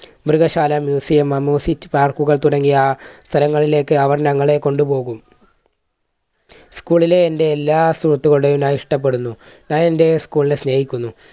മൃഗശാല museum, amusement park തുടങ്ങിയ സ്ഥലങ്ങളിലേക്ക് അവർ ഞങ്ങളെ കൊണ്ടുപോകും. school ലെ എന്റെ എല്ലാ സുഹൃത്തുക്കളുടെയും ഞാൻ ഇഷ്ടപ്പെടുന്നു. ഞാൻ എൻറെ school നെ സ്നേഹിക്കുന്നു.